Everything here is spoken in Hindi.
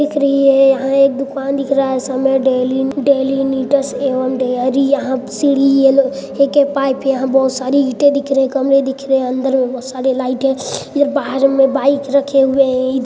दिख रही है यहाँ एक दुकान दिख रहा है डेली-डेलीनीड्स एवं डेयरी यहाँ सिरी एके पाइप यहा बहोत सारी ईटे दिख रही कमरे दिख रहे अंदर मे बहोत सारी लाइट है इधर बहार मे बाइक रखे हुए है ईधर--